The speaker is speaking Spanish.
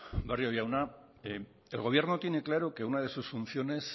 barrio jauna el gobierno tiene claro que una de sus funciones